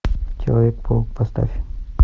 человек паук поставь